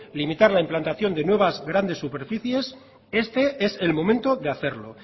limitar la implantación de nuevas grandes superficies este es el momento de hacerlo